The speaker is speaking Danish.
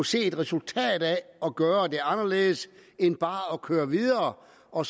se et resultat af at gøre det anderledes end bare at køre videre og